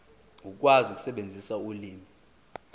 ukwazi ukusebenzisa ulimi